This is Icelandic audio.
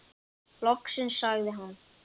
Loksins sagði hann.